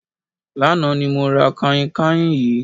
Lánàá ni mo ra kànhìnkànhìn yìí.